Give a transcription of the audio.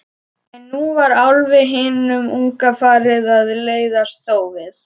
En nú var Álfi hinum unga farið að leiðast þófið.